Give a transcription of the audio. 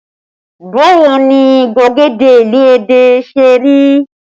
Báwo ni gbagede ìlú Ẹdẹ ṣe rí?